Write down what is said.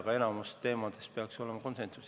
Aga enamiku teemade puhul peaks olema konsensus.